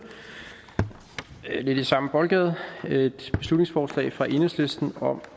lidt i samme boldgade et beslutningsforslag fra enhedslisten om